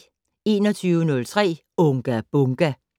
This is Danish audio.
21:03: Unga Bunga!